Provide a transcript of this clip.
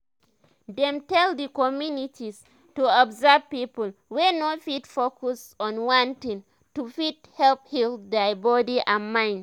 dem tell d communities to observe people wey no fit focus on one thing to fit help heal dia body and mind